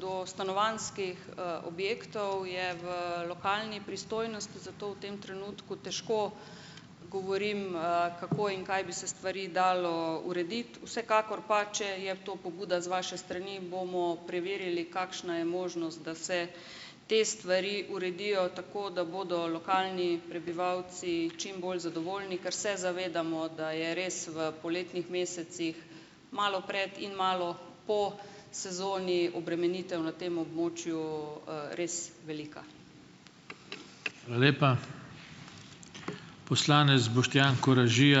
do stanovanjskih, objektov, je v lokalni pristojnosti, zato v tem trenutku težko govorim, kako in kaj bi se stvari dalo urediti, vsekakor pa, če je to pobuda z vaše strani, bomo preverili, kakšna je možnost, da se te stvari uredijo tako, da bodo lokalni prebivalci čim bolj zadovoljni, ker se zavedamo, da je res v poletnih mesecih, malo pred in malo po sezoni obremenitev na tem območju, res velika.